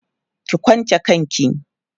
ki kwanche kanki!